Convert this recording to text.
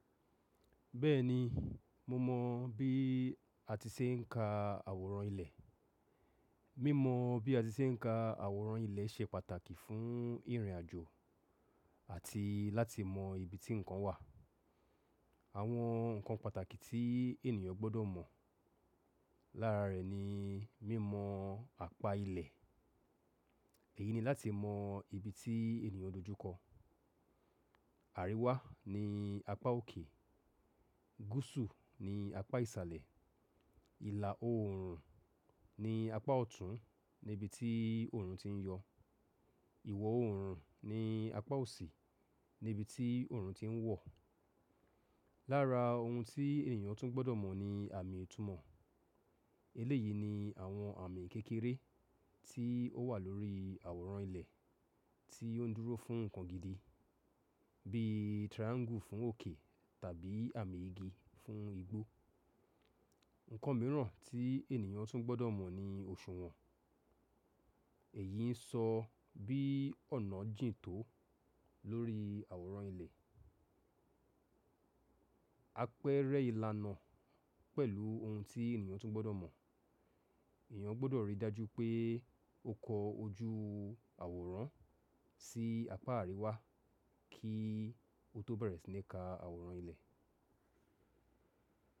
Bẹ́ẹ̀ni, mo mọ̀ bí a ti ṣe ń ka àwòrán ilẹ̀. Mímọ̀ bí a ti ṣe ń ka àwòrán ilẹ̀ ṣe pàtàkì fún ìrìnàjò àti láti mọ ibi tí nǹkan wà. Àwọn nǹkan pàtàkì tí ènìyàn gbọ́dọ̀ mọ̀ lára rẹ̀ ni mímọ̀ apá ilẹ̀. Èyí ni láti mọ ibi tí ènìyàn dojúkọ. Àríwá ni apá òkè, gúúsù ni apá ìsàlẹ̀, ìlà oòrùn ni apá ọ̀tún ní ibi tí òòrùn ti ń yọ̀, ìwọ̀ oòrùn ni apá òsì ní ibi tí òòrùn ti ń wọ̀. Lára ohun tí ènìyàn tún gbọ́dọ̀ mọ̀ ni àmì ìtumọ̀. Eléyìí ni àwọn àmì kékeré tí ó wà lórí àwòrán ilẹ̀ tí ó ń dúró fún nǹkan gidi bí triangle fún òkè tàbí àmì igi fún igbó. Nǹkan mìíràn tí ènìyàn tún gbọ́dọ̀ mọ̀ ni oṣùwọ̀n. Èyí ń sọ bí ọ̀nà jìn tó lórí àwòrán ilẹ̀. Apẹ́rẹ́ ìlànà pẹ̀lú ohun tí ènìyàn tún gbọ́dọ̀ mọ̀. Ẹ̀yàn gbọ́dọ̀ rí dájú pé ó kọ ojú àwòrán sí apá àríwá kí ó tó bẹ̀rẹ̀ sí ní ka àwòrán ilẹ̀.